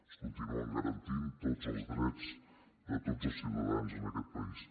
es continuen garantint tots els drets de tots els ciutadans en aquest país